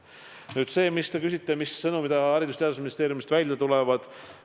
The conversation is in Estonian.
Nüüd see, mille kohta te küsite, mis sõnumid Haridus- ja Teadusministeeriumist välja tulevad.